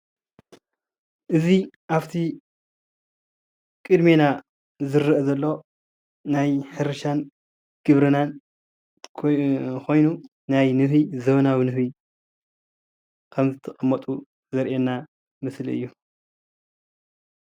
እዚ ኣብ እቲ ቅድሜና ዝረአ ዘሎ ናይ ሕርሻን ግብርናን ኮይኑ ናይ ንህቢ ዘመነዊ ንህቢ ከም ዝቅመጡ ዘርኢ ምስሊ እዩ፡፡